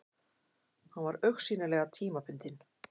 Hann var augsýnilega tímabundinn.